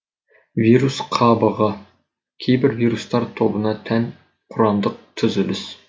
вирус қабығы кейбір вирустар тобына тән құрамдық түзіліс